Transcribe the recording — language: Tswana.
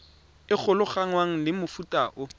e golaganngwang le mofuta o